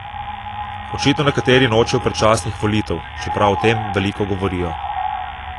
Očitno nekateri nočejo predčasnih volitev, čeprav o tem veliko govorijo.